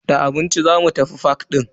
Da abinci zamu tafi fak din.